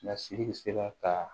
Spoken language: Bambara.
Lasiri sera ka